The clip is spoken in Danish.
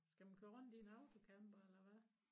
Skal man køre rundt i en autocamper eller hvad